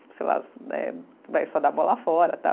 Sei lá, eh vai só dar bola fora, tal.